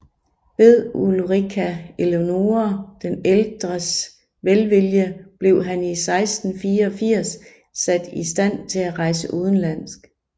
Ved Ulrika Eleonora den ældres velvilje blev han 1684 sat i stand til at rejse udenlands